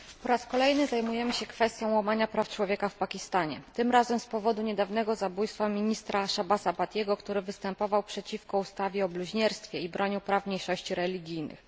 Panie Przewodniczący! Po raz kolejny zajmujemy się kwestią łamania praw człowieka w Pakistanie. Tym razem z powodu niedawnego zabójstwa ministra Shahbaza Bhattiego, który występował przeciwko ustawie o bluźnierstwie i bronił praw mniejszości religijnych.